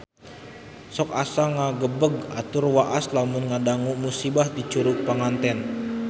Sok asa ngagebeg tur waas lamun ngadangu musibah di Curug Panganten